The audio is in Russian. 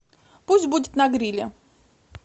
пусть будет на гриле